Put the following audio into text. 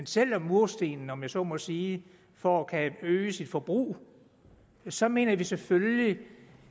sælger murstenene om jeg så må sige for at øge sit forbrug så mener vi selvfølgelig